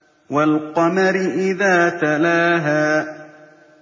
وَالْقَمَرِ إِذَا تَلَاهَا